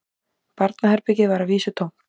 Barnaherbergið var að vísu tómt